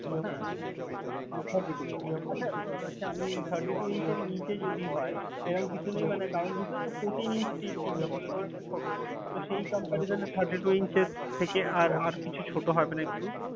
হ্যাঁ হ্যাঁ । আচ্ছা। thirty-two inch আচ্ছা আচ্ছা আমি thirty-two inch এর নিচে যদি হয়, এরম কিছু নেই? মানে কারন বুঝছেন? fourteen inch TV ছিল তো অনেকটা ছোটো, তো সেই comperison এ thirty-two inch এর থেকে আর আর কিছু ছোটো হবেনা একটু?